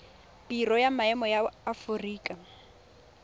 biro ya maemo ya aforika